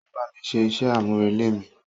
O bámi ṣé iṣẹ amurele mi.